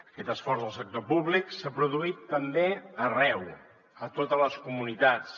aquest esforç del sector públic s’ha produït també arreu a totes les comunitats